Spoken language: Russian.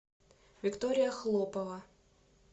виктория хлопова